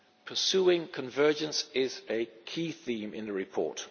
Pursuing convergence is a key theme in the report.